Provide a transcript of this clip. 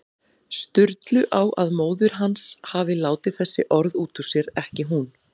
Sturlu á að móðir hans hafi látið þessi orð út úr sér, ekki hún.